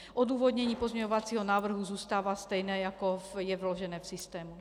Odůvodnění pozměňovacího návrhu zůstává stejné, jako je vložené v systému.